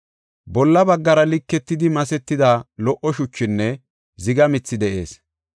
Bolla baggara liketidi masetida lo77o shuchinne ziga mithi de7ees.